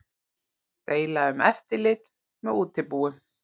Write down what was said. Deila um eftirlit með útibúum